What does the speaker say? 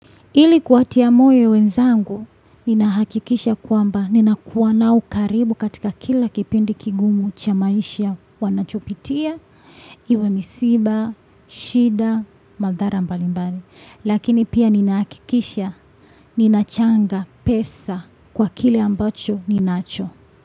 Ili kuwatia moyo wenzangu, nina hakikisha kwamba nina kuwa nao karibu katika kila kipindi kigumu cha maisha wanachopitia, iwe misiba, shida, madhara mbali mbali. Lakini pia nina hakikisha, ninachanga pesa kwa kile ambacho ninacho.